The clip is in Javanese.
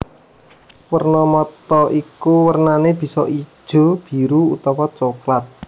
Werna mata iku wernané bisa ijo biru utawa coklat